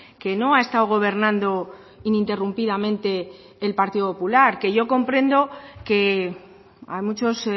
que no ha estado gobernando ininterrumpidamente el partido popular que yo comprendo que a muchos